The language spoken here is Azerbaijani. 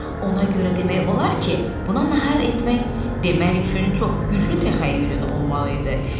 Ona görə demək olar ki, buna nahar etmək demək üçün çox güclü təxəyyülün olmalı idi.